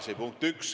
See on punkt üks.